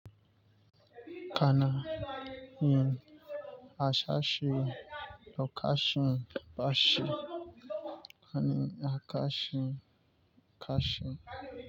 Kana, yin, harsashi, lokacin bashi, ani akashi kashi.